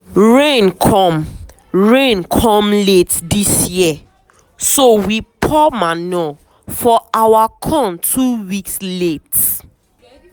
rain come rain come late this year so we pour manure for our corn two weeks late.